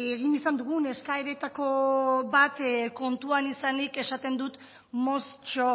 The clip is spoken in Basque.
egin izan dugun eskaeretako bat kontuan izanik esaten dut moztxo